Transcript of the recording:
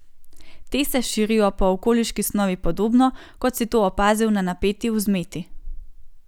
Te se širijo po okoliški snovi podobno, kot si to opazil na napeti vzmeti.